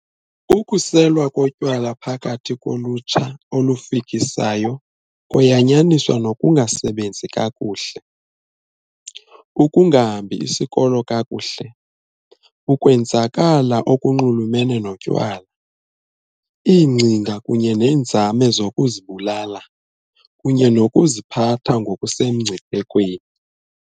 Ukuselwa kotywala phakathi kolutsha olufikisayo koyanyaniswa nokungasebenzi kakuhle, ukungahambi isikolo kakuhle, ukwenzakala okunxulumene notywala, iingcinga kunye neenzame zokuzibulala, kunye nokuziphatha ngokusemngciphekweni.